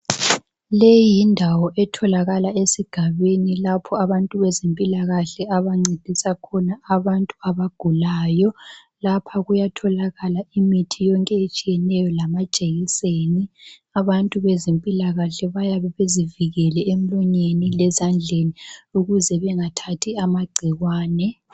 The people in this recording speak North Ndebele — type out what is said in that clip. Leyi yindawo etholakala esigabeni lapho abantu bezempilakahle abancedisa khona abantu abagulayo. Lapha kuyatholakala imithi yonke etshiyeneyo lamajekiseni. Abantu bezempilakahle bayabe bezivikele emlonyeni lezandleni ukuze bengathathi amagcikwane.